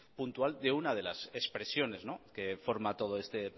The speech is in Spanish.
puntual de una de las expresiones que forma todo este